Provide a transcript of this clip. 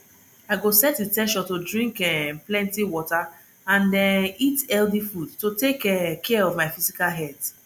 i go set in ten tion to drink um plenty water and um eat healthy food to take um care of my physical health